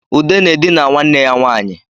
Ude na-edina nwanne ya nwanyị